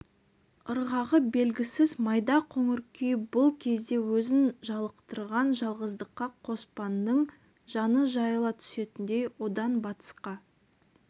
ырғағы белгісіз майда қоңыр күй бұл кезде өзін жалықтырған жалғыздыққа қоспанның жаны жайыла түсетіндей одан батысқа